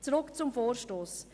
Zurück zum Vorstoss.